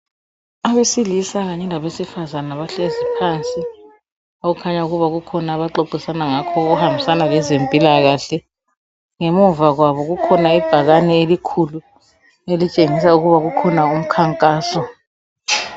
Abesilisa kanye labe sifazana bahlezi phansi okukhanya kuba kukhona abaxoxisana ngakho okuhambisana lezempilakahle. Ngemuva kwabo kukhona ibhakane elikhulu elitshengisa ukuba kukhona umkhankaso.